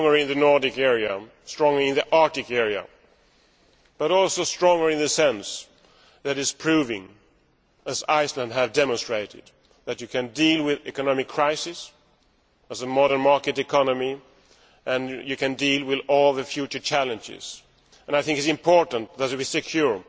Stronger in the Nordic area, stronger in the Arctic area, but also stronger in the sense that is proving, as Iceland has demonstrated, that you can deal with economic crisis as a modern market economy and you can deal with all the future challenges. And I think it is important that we secure